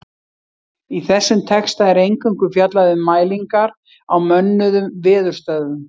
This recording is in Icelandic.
Í þessum texta er eingöngu fjallað um mælingar á mönnuðum veðurstöðvum.